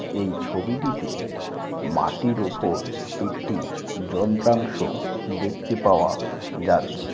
এই ছবিটিতে মাটির ওপর একটি যন্ত্রাংশ দেখতে পাওয়া যাচ্ছে।